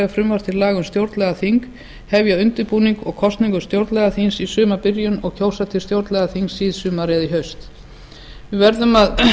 frumvarp til laga um stjórnlagaþing hefja undirbúning að kosningu þess í sumarbyrjun og kjósa til þess síðsumars eða í haust við verðum að